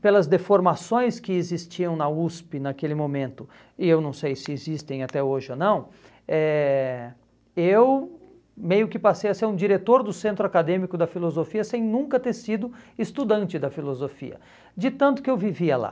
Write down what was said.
pelas deformações que existiam na USP naquele momento, e eu não sei se existem até hoje ou não, eh eu meio que passei a ser um diretor do Centro Acadêmico da Filosofia sem nunca ter sido estudante da filosofia, de tanto que eu vivia lá.